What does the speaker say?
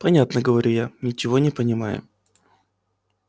понятно говорю я ничего не понимая